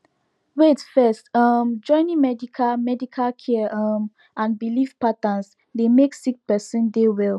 wait first um joining medical medical care um and belief patterns dey make sick peron dey well